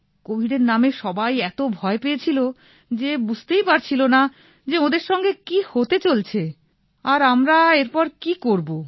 কোভিডের নামে সবাই এত ভয় পেয়েছিল যে ওঁরা বুঝতেই পারছিল না যে ওঁদের সঙ্গে কি হতে চলছে আর আমরা এরপর কি করবো